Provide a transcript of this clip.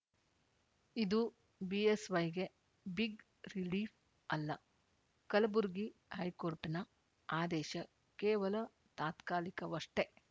ಇದು ಬಿಎಸ್‌ವೈಗೆ big relief ಅಲ್ಲ ಕಲಬುರಗಿ ಹೈಕೋರ್ಟ್‌ನ ಆದೇಶ ಕೇವಲ ತಾತ್ಕಾಲಿಕವಷ್ಟೇ